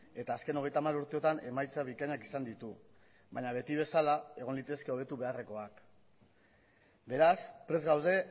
eta azken hogeita hamar urteotan emaitza bikainak izan ditu baina beti bezala egon litezke hobetu beharrekoak beraz prest gaude